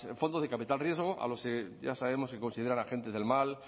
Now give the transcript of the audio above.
fondo de capital riesgo ya sabemos que lo consideran agentes del mal